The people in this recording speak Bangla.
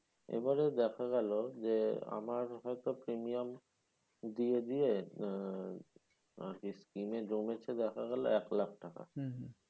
এবারে দেখা গেলো যে আমার হয়তো premium দিয়ে দিয়ে আহ আরকি scheme এ জমেছে দেখা গেলো এক লাখ টাকা।